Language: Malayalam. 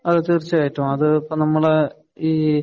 അതേ തീര്‍ച്ചയായിട്ടും, അത് ഇപ്പം നമ്മടെ